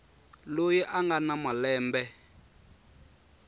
loyi a nga na malembe